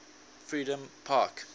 freedompark